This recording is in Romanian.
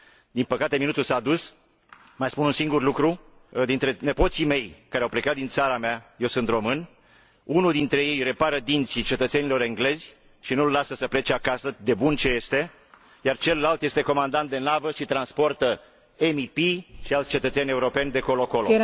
Din păcate, minutul s a dus, mai spun un singur lucru dintre nepoții mei, care au plecat din țara mea eu sunt român unul dintre ei repară dinții cetățenilor englezi și nu îl lasă să plece acasă de bun ce este, iar celălalt este comandant de navă și transportă MEP și alți cetățeni europeni de colo colo.